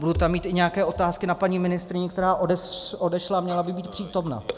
Budu tam mít i nějaké otázky na paní ministryni, která odešla a měla by být přítomna.